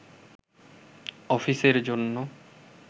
অফিসের জন্য